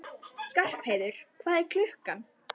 Skarpheiður, hvað er klukkan?